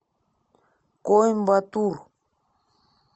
коимбатур